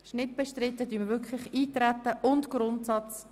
Dies ist nicht der Fall.